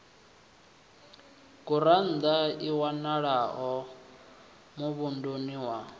gurannḓa i wanalaho muvhunduni wa